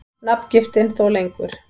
Nafngiftin þó lengur.